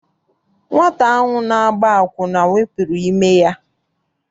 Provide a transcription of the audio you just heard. Nwata ahụ na-agba akwụna wepụrụ ime ya.